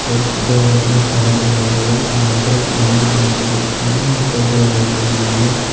और दो आदमी खाना बना रहे हैं यहां पर एक पानी की टंकी रखी है ऊपर दो लाइट लगी हुई है।